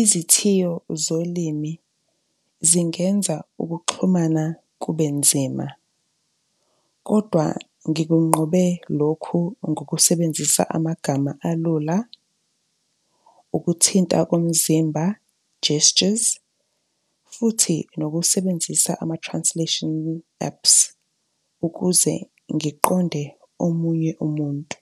Izithiyo zolimi zingenza ukuxhumana kube nzima. Kodwa ngikunqobe lokhu ngokusebenzisa amagama alula, ukuthinta komzimba, gestures futhi nokusebenzisa ama-translation apps, ukuze ngiqonde omunye umuntu.